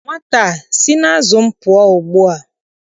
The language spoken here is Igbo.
Nwata a sị n'azụ m pụọ ugbua!